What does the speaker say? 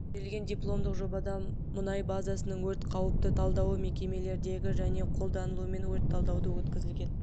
берілген дипломдық жобада мұнай базасының өрт қауіпті талдауы мекемелердегі және қолданылуымен өрт талдауы өткізілген